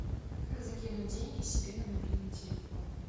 как закинуть деньги себе на мобильный телефон